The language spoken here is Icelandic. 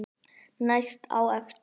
Næst á eftir